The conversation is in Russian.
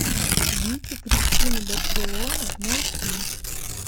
вики кристина барселона найти